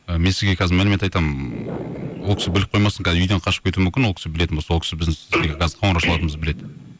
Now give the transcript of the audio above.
і мен сізге қазір мәлімет айтамын ол кісі біліп қоймасын үйден қашып кетуі мүмкін ол кісі білетін болса ол кісі біздің сізге қоңырау шалатынымызды біледі